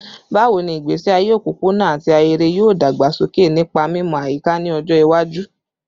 Bawo ni igbesi aye opopona ati ahere yoo dagbasoke nipa mimọ ayika ni ọjọ iwaju?